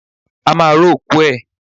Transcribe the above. A máa ró òkú ẹ̀.